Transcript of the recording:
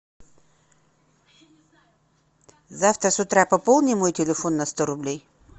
завтра с утра пополни мой телефон на сто рублей